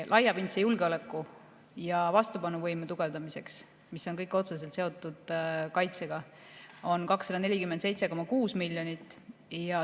Laiapindse julgeoleku ja vastupanuvõime tugevdamiseks, mis on kõik otseselt seotud kaitsega, on 247,6 miljonit.